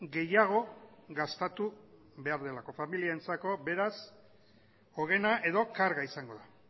gehiago gastatu behar delako familientzako beraz ogena edo karga izango da